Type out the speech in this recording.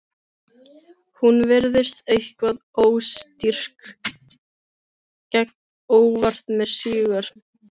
Ég róleg í rúminu horfi á sama bruna í sjónvarpinu.